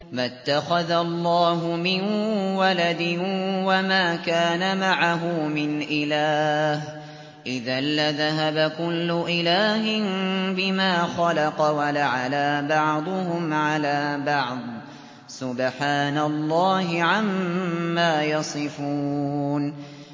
مَا اتَّخَذَ اللَّهُ مِن وَلَدٍ وَمَا كَانَ مَعَهُ مِنْ إِلَٰهٍ ۚ إِذًا لَّذَهَبَ كُلُّ إِلَٰهٍ بِمَا خَلَقَ وَلَعَلَا بَعْضُهُمْ عَلَىٰ بَعْضٍ ۚ سُبْحَانَ اللَّهِ عَمَّا يَصِفُونَ